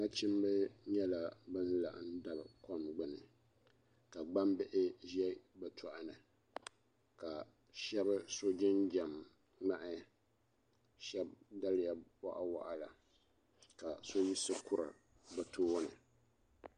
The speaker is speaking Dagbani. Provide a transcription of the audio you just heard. Nachimba nyɛla ban laɣim dabi kom gbuni ka gbambihi ʒe bɛ tohini ka shɛba so jinjam ŋmahi shɛba daliya bɔɣu waɣila ka so yiɣisi kuri bɛ tooni.